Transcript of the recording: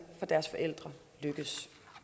for deres forældre lykkes